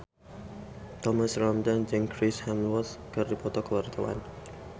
Thomas Ramdhan jeung Chris Hemsworth keur dipoto ku wartawan